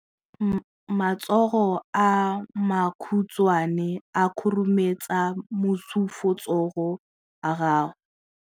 Matsogo a makhutshwane a khurumetsa masufutsogo a gago.